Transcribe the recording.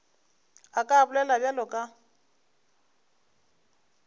a ka bolela bjalo ka